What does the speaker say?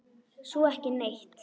Svo ekki neitt.